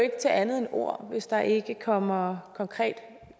ikke til andet end ord hvis der ikke kommer konkrete